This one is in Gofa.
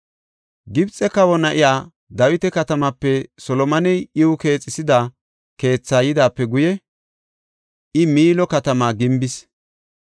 Gibxe kawa na7iya Dawita katamaape Solomoney iw keexisida keetha yidaape guye, I Miilo katamaa gimbis.